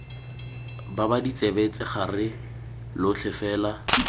baba ditsebe tshegare lotlhe fela